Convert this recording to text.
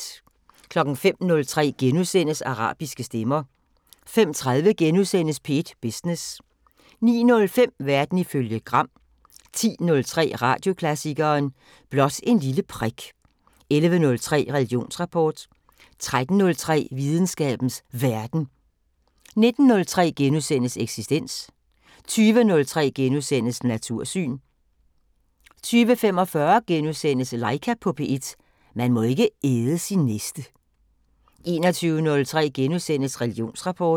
05:03: Arabiske stemmer * 05:30: P1 Business * 09:05: Verden ifølge Gram 10:03: Radioklassikeren: Blot et lille prik 11:03: Religionsrapport 13:03: Videnskabens Verden 19:03: Eksistens * 20:03: Natursyn * 20:45: Laika på P1 – man må ikke æde sin næste * 21:03: Religionsrapport *